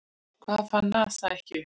Hvað fann NASA ekki upp?